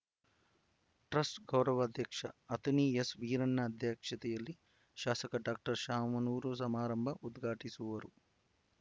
truss ಗೌರವ ಅಧ್ಯಕ್ಷ ಅತುನಿ ಎಸ್ ವೀರಣ್ಣ ಅಧ್ಯಕ್ಷತೆಯಲ್ಲಿ ಶಾಸಕ ಡಾಕ್ಟರ್ ಶಾಮನೂರು ಸಮಾರಂಭ ಉದ್ಘಾಟಿಸಿವರು